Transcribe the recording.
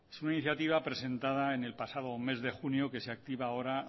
es una iniciativa presentada en el pasado mes de junio que se activa ahora